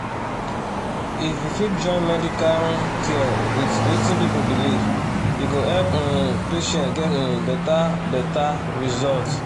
if we fit join medical um care with wetin people believe e go help um patients get um better better result